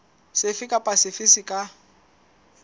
sefe kapa sefe se ka